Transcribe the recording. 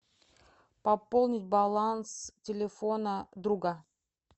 пополнить баланс телефона друга